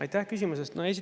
Aitäh küsimuse eest!